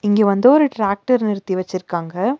இங்க வந்து ஒரு ட்ரேக்டர் நிறுத்தி வெச்சிருக்காங்க.